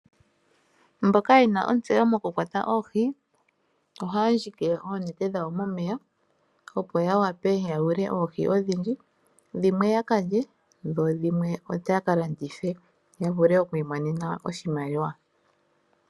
Mboka yena ontseyo mokukwata oohi, ohaya ndjike oonete dhawo momeya opo ya wape ya yule oohi odhindji. Dhimwe ya ka lye, dho dhimwe oya ka landithe ya vule oku imonena oshimaliwa.